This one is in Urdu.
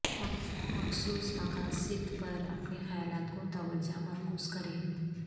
مخصوص مقاصد پر اپنے خیالات کو توجہ مرکوز کریں